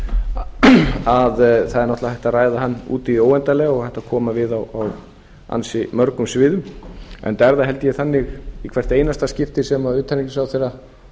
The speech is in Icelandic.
er náttúrlega hægt að ræða hann út í hið óendanlega og hægt að koma við á ansi mörgum sviðum enda er það held ég þannig í hvert einasta skipti sem utanríkisráðherra